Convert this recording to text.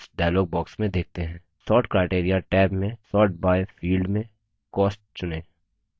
sort criteria tab में sort by field में cost चुनें